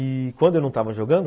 E quando eu não estava jogando...